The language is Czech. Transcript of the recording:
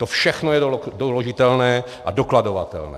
To všechno je doložitelné a dokladovatelné.